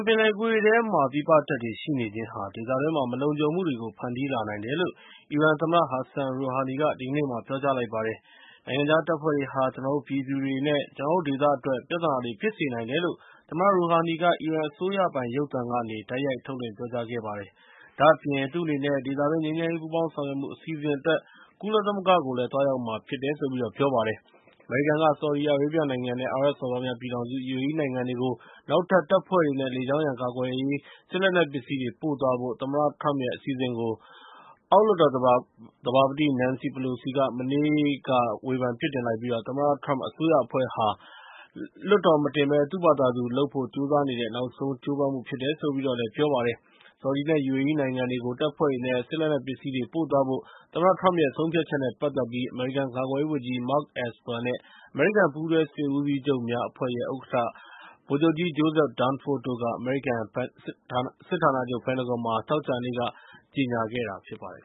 ပင်လယ်ကွေ့ထဲမှာ ပြည်ပကတပ်တွေ ရှိနေခြင်းဟာ ဒေသတွင်းမှာ မလုံခြုံမှုတွေကို ဖန်တီးလာနိုင်တယ်လို့ အီရန်သမ္မတ Hassan Rouhani က ဒီကနေ့ ပြောကြားလိုက်ပါတယ်။ “နိုင်ငံခြားတပ်ဖွဲ့တွေက ကျနော်တို့ပြည်သူတွေနဲ့ ကျနော်တို့ဒေသအတွက် ပြဿနာတွေ ဖြစ်စေနိုင်တယ်” လို့ သမ္မတ Rouhani က အီရန်အစိုးရပိုင် ရုပ်သံကနေ တိုက်ရိုက်ထုတ်လွှင့် ပြောကြားခဲ့ပါတယ်။ ဒါ့အပြင် သူ့အနေနဲ့ ဒေသတွင်း ငြိမ်းချမ်းရေး ပူးပေါင်းဆောင်ရွက်မှု အစီအစဉ်အတွက် ကုလသမဂ္ဂကို သွားရောက်မှာဖြစ်တယ်လို့လည်း ပြောလိုက်ပါတယ်။ အမေရိကန်က ဆော်ဒီအာရေဗျနိုင်ငံနဲ့ အာရပ်စော်ဘွားများပြည်ထောင်စု (UAE) နိုင်ငံတွေကို နောက်ထပ်တပ်ဖွဲ့တွေနဲ့ လေကြောင်းရန်ကာကွယ်ရေး စစ်လက်နက်ပစ္စည်းတွေကို ပို့သွားဖို့ သမ္မတထရမ့်ရဲ့ အစီအစဉ်ကို အောက်လွှတ်တော်သဘာပတိ Nancy Pelosi က မနေ့က ဝေဖန်ပြစ်တင်လိုက်ပြီး သမ္မတထရမ့် အစိုးရအဖွဲ့ဟာ လွှတ်တော်ထိမတင်ဘဲ သူ့ဘာသာသူလုပ်ဖို့ ကြိုးစားနေတဲ့ နောက်ဆုံးကြိုးပမ်းမှု ဖြစ်တယ်လို့လည်း ပြောလိုက်ပါတယ်။ ဆော်ဒီနဲ့ UAE နိုင်ငံတွေကို တပ်ဖွဲ့တွေနဲ့ စစ်လက်နက်ပစ္စည်းတွေ ပို့သွားဖို့ သမ္မတထရမ့်ရဲ့ ဆုံးဖြတ်ချက်နဲ့ ပတ်သက်ပြီး အမေရိကန် ကာကွယ်ရေးဝန်ကြီး Mark Esper နဲ့ အမေရိကန် ပူးတွဲစစ်ဦးစီးချုပ်များအဖွဲ့ရဲ့ ဥက္ကဋ္ဌ ဗိုလ်ချုပ်ကြီး Joseph Dunford တို့က အမေရိကန်စစ်ဌာနချုပ် ပင်တဂွန်မှာ သောကြာနေ့က ကြေညာခဲ့တာ ဖြစ်ပါတယ်